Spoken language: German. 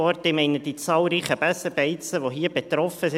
Ich meine die zahlreichen Besenbeizen, die hier betroffen sind.